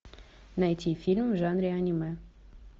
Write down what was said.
найти фильм в жанре аниме